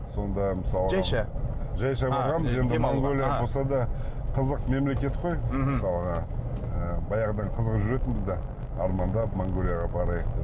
сонда мысалы жайша жайша барғанбыз енді болса да қызық мемлекет қой мхм мысалға ы баяғыдан қызығып жүретінбіз де армандап монғолияға барайық деп